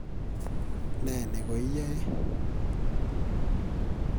Ne ne koiyae?